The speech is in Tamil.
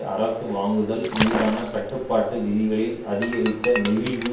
அரசு வாங்குதல் மீதான கட்டுப்பாட்டு விதிகளில் அதிகரித்த நெகிழ்வு